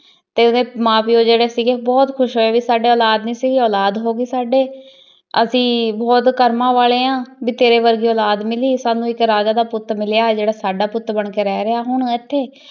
ਤੇ ਓਹਦੇ ਮਾਂ ਪਯੋ ਜੇਰੀ ਸੀਗੀ ਬੋਹਤ ਖੁਸ਼ ਹੋਆਯ ਭੀ ਸਾਡੇ ਓਲਾਦ ਨਾਈ ਸੀ ਓਲਾਦ ਹੋਈ ਸਾਡੇ ਅਸੀਂ ਬੋਹਤ ਕਰਮਾਂ ਵਾਲੇ ਆਂ ਭੀ ਤੇਰੀ ਕੇ ਕੀ ਓਲਾਦ ਮਿਲੀ ਭੀ ਸਾਨੂ ਏਇਕ ਰਾਜਾ ਦਾ ਪੁਤ ਮਿਲਯਾ ਜੇਰਾ ਸਦਾ ਪੁਤ ਬਣ ਕੀ ਰਹ ਰਯ ਹਨ ਏਥੇ ਈ